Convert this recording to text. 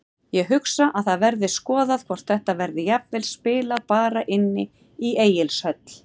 Ég hugsa að það verði skoðað hvort þetta verði jafnvel spilað bara inni í Egilshöll.